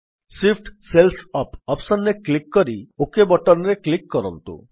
Shift cells up option ରେ click କରି OK button ରେ କ୍ଲିକ୍ କରନ୍ତୁ